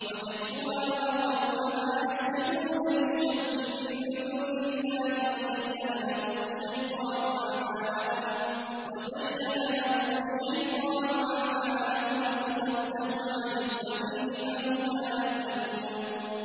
وَجَدتُّهَا وَقَوْمَهَا يَسْجُدُونَ لِلشَّمْسِ مِن دُونِ اللَّهِ وَزَيَّنَ لَهُمُ الشَّيْطَانُ أَعْمَالَهُمْ فَصَدَّهُمْ عَنِ السَّبِيلِ فَهُمْ لَا يَهْتَدُونَ